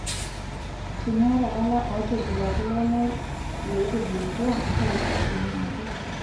Teniata lala ootipikaki leme lootubulutua, ntaa safii anaake..